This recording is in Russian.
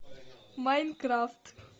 майнкрафт